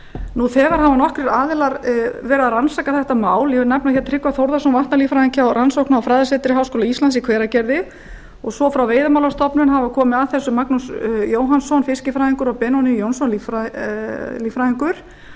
nú þegar hafa nokkrir aðilar rannsakað þetta mál ég nefni tryggva þórðarson vatnalíffræðing hjá rannsókna og fræðasetri háskóla íslands í hveragerði og frá veiðimálastofnun hafa komið að þessu magnús jóhannsson fiskifræðingur og benóný jónsson líffræðingur þannig